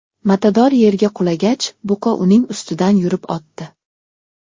Matador yerga qulagach, buqa uning ustidan yurib o‘tdi.